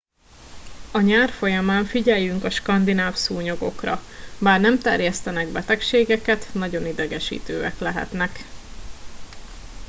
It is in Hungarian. a nyár folyamán figyeljünk a skandináv szúnyogokra bár nem terjesztenek betegségeket nagyon idegesítőek lehetnek